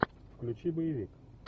включи боевик